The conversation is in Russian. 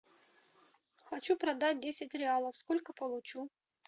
хочу продать десять реалов сколько получу